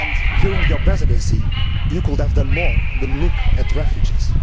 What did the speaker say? During your Presidency, you could have done more than look at refugees.